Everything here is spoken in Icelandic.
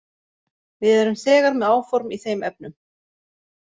Við erum þegar með áform í þeim efnum.